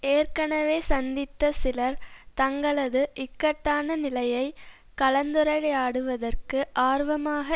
ஏற்கனவே சந்தித்த சிலர் தங்களது இக்கட்டான நிலையை கலந்துரையாடுவதற்கு ஆர்வமாக